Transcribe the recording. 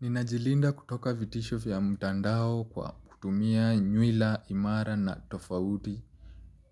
Ninajilinda kutoka vitisho vya mtandao kwa kutumia nywila imara na tofauti